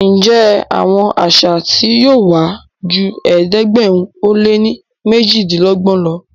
Njé Àwọn àṣà tí yóò wá jù ẹ̀ẹ́dẹ̀gbẹ̀rin o lẹ ní mejidinlogbon ló?